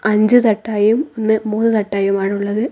അഞ്ച് തട്ടായും ഒന്ന് മൂന്ന് തട്ടായുമാണ് ഉള്ളത്.